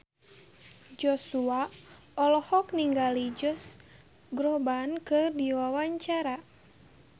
Joshua olohok ningali Josh Groban keur diwawancara